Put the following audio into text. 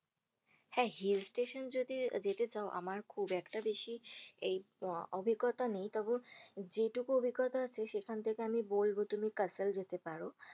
হ্যা hill station যদি যেতে চাও আমার খুব একটা বেশি এই আহ অভিঙ্গতা নেই তবুও যেইটুকু অভিঙ্গতা সেখান থেকে আমি বলব তুমি কাসল যেতে পারো,